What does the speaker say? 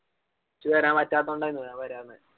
എനിച്ഛ് വരാൻ പറ്റാത്തോണ്ട് ആയിന് ഞാൻ വരാഞ്ഞേ